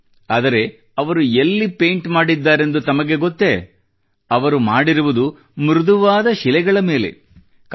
ಆದರೆ ಅವರು ಎಲ್ಲಿ ಪೇಂಟ್ ಮಾಡಿದ್ದಾರೆಂದು ತಮಗೆ ಗೊತ್ತೇ ಅವರು ಮಾಡಿರುವುದು ಮೃದುವಾದ ಶಿಲೆಗಳ ಮೇಲೆ ಮೃದುವಾದ ಶಿಲೆಗಳ ಮೇಲೆ